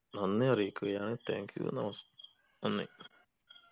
നന്ദി അറിയിക്കുകയാണ് thank you നമസ് നന്ദി